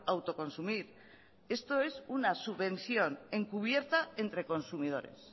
autoconsumir esto es una subvención encubierta entre consumidores